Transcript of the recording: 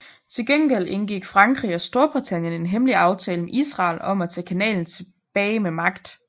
Til gengæld indgik Frankrig og Storbritannien en hemmelig aftale med Israel om at tage kanalen tilbage med magt